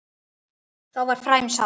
Þá var fræjum sáð.